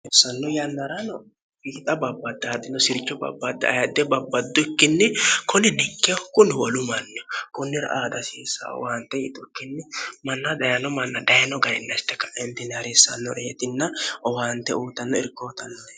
harissanno yannarano hiixa babbaddi adino sircho babbaddi ayadde babbaddukkinni koli dikkeho kuni holu manni kunnira aadasiissa owaante yixu kkinni manna dayino manna dayino gayinnashte ka'entini hariissannore yitinna owaante uutanno irkootann